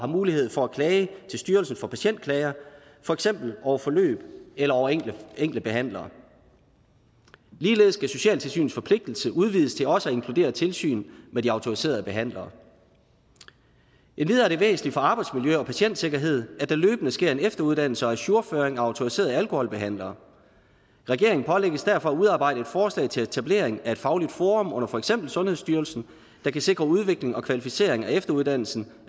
mulighed for at klage til styrelsen for patientklager for eksempel over forløb eller over enkelte behandlere ligeledes skal socialtilsynets forpligtelse udvides til også at inkludere tilsyn med de autoriserede behandlere endvidere er det væsentligt for arbejdsmiljø og patientsikkerhed at der løbende sker en efteruddannelse og ajourføring af autoriserede alkoholbehandlere regeringen pålægges derfor at udarbejde et forslag til etablering af et fagligt forum under for eksempel sundhedsstyrelsen der kan sikre udvikling og kvalificering af efteruddannelsen